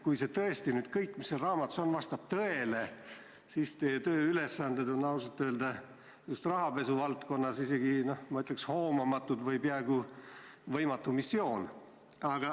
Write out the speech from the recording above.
Kui see, mis selles raamatus kirjas on, vastab tõele, siis on ausalt öelda teie tööülesanded just rahapesuvaldkonnas, ma ütleks, peaaegu võimatu missioon.